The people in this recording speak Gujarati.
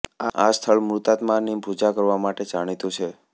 આ સ્થળ મૃતાત્માની પૂજા કરવા માટે જાણીતું છે